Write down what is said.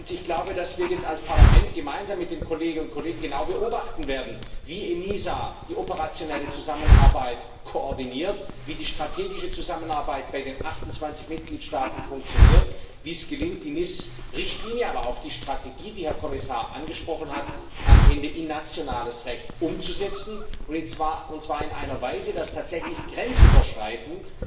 Ich glaube, dass wir jetzt als Parlament gemeinsam mit den Kollegeninnen und Kollegen genau beobachten werden wie die ENISA die operationelle Zusammenarbeit koordiniert, wie die strategische Zusammenarbeit bei den 28 Mitgliedstaaten funktioniert, wie es gelingt, die NIS Richtlinie, aber auch die Strategie, die der Herr Kommissar angesprochen hat, am Ende in nationales Recht umzusetzen, und zwar in einer Weise, dass tatsächlich grenzüberschreitend